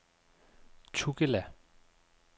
Tugela